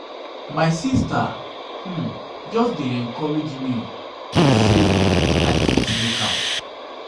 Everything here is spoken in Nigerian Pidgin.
my sista um just dey encourage me sey i fit um make am. um